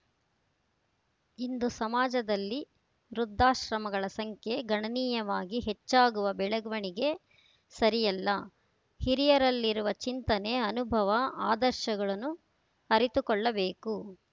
ಇಂದು ಸಮಾಜದಲ್ಲಿ ವೃದ್ಧಾಶ್ರಮಗಳ ಸಂಖ್ಯೆ ಗಣನೀಯವಾಗಿ ಹೆಚ್ಚಾಗುವ ಬೆಳವಣಿಗೆ ಸರಿಯಲ್ಲ ಹಿರಿಯಲ್ಲಿರುವ ಚಿಂತನೆ ಅನುಭವ ಅದರ್ಶಗಳನ್ನು ಅರಿತುಕೊಳ್ಳಬೇಕು